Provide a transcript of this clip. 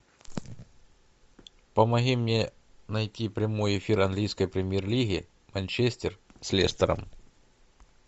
помоги мне найти прямой эфир английской премьер лиги манчестер с лестером